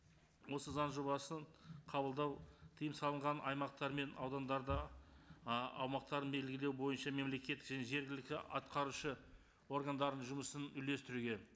осы заң жобасын қабылдау тыйым салынған аймақтар мен аудандарда аумақтарын белгілеу бойынша мемлекеттік және жергілікті атқарушы органдарының жұмысын үйлестіруге